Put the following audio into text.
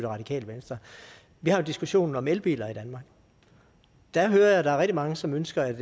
radikale venstre vi har jo diskussionen om elbiler i danmark der hører jeg at der er rigtig mange som ønsker at